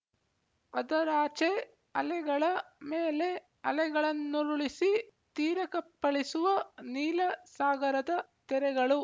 ಅದರಾಚೆ ಅಲೆಗಳ ಮೇಲೆ ಅಲೆಗಳನ್ನುರುಳಿಸಿ ತೀರಕ್ಕಪ್ಪಳಿಸುವ ನೀಲ ಸಾಗರದ ತೆರೆಗಳು